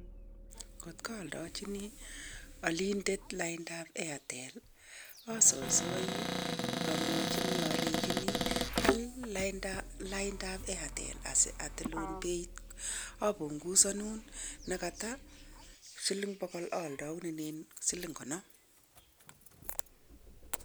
Ngot aldachini alindet laindab airtel, asaisai amwachini alechini al laindab airtel asi atilun beit, apungusonun ne koto siling bokol aldaunenen siling konom.